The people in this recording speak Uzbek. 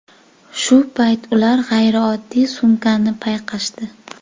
Shu payt ular g‘ayrioddiy sumkani payqashdi.